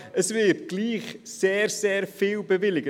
Es wird also trotz allem sehr viel bewilligt.